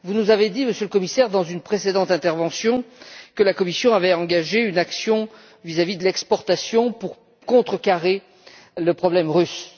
Vous nous avez dit, Monsieur le Commissaire, dans une précédente intervention, que la Commission avait engagé une action sur le plan des exportations pour contrecarrer le problème russe.